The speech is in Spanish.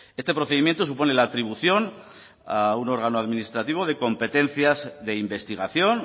este procedimiento supone la atribución a un órgano administrativo de competencias de investigación